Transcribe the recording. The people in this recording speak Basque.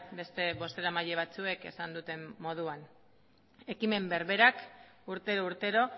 beste bozeramaile batzuek esan duten moduan ekimen berberak urtero urtero